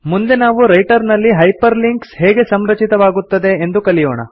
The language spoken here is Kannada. ಮುಂದೆ ನಾವು ರೈಟರ್ ನಲ್ಲಿ ಹೈಪರ್ ಲಿಂಕ್ಸ್ ಹೇಗೆ ಸಂರಚಿತವಾಗುತ್ತದೆ ಎಂದು ಕಲಿಯೋಣ